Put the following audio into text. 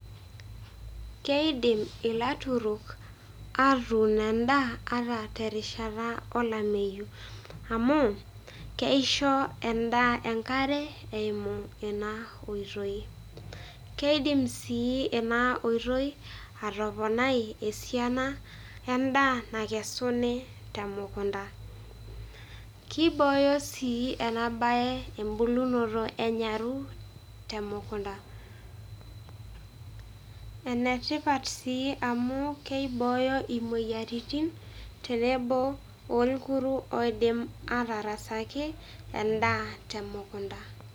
Keidim ilaturok atun endaa ata terishata olameyu. Amu keisho endaa enkare eimu ena oitoi. Keidim si ena oitoi ataponai esiana endaa nakesuni temukunta. Kibooyo si enabae ebulunoto enyaru temukunta. Enetipat si amu keibooyo imoyiaritin tenebo oikuru oidim atarasaki endaa temukunta.